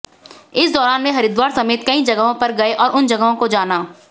इस दौरान वे हरिद्वार समेत कई जगहों पर गए और उन जगहों को जाना